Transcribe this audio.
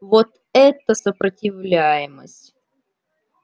вот это сопротивляемость